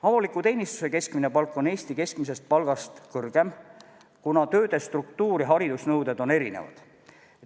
Avaliku teenistuse keskmine palk on Eesti keskmisest palgast kõrgem, kuna tööde struktuur ja haridusnõuded on erinevad.